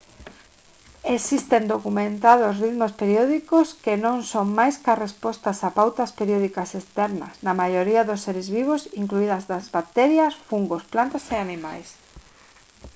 existen documentados ritmos periódicos que non son máis ca respostas a pautas periódicas externas na maioría dos seres vivos incluídas as bacterias fungos plantas e animais